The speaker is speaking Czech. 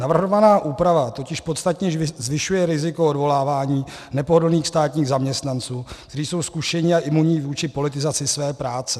Navrhovaná úprava totiž podstatně zvyšuje riziko odvolávání nepohodlných státních zaměstnanců, kteří jsou zkušení a imunní vůči politizaci své práce.